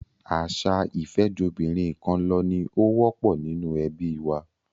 Àṣà ìfẹ́jobìnrinkanlọ ni ó wọ́pọ̀ nínú ẹbí wa.